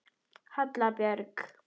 Halla Björg.